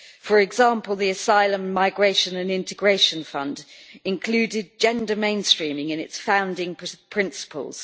For example, the Asylum, Migration and Integration Fund included gender mainstreaming in its founding principles.